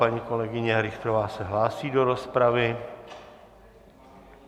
Paní kolegyně Richterová se hlásí do rozpravy.